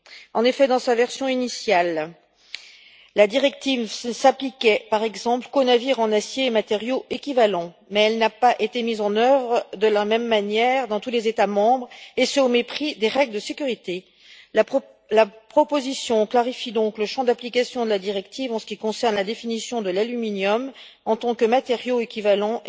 En effet, dans sa version initiale, la directive ne s'appliquait, par exemple, qu'aux navires en acier et matériaux équivalents, mais elle n'a pas été mise en œuvre de la même manière dans tous les États membres, et ce au mépris des règles de sécurité. La proposition clarifie donc le champ d'application de la directive en ce qui concerne la définition de l'aluminium en tant que matériau équivalent